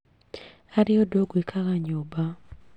Harĩ ũndũ ngwĩkaga nyũmba